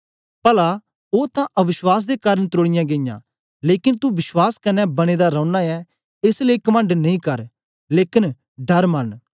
पला ओ तां अवश्वास दे कारन त्रोड़ीयां गेईयां लेकन तू विश्वास कन्ने बने दा रौना ऐं एस लेई कमंड नेई कर लेकन डर मन्न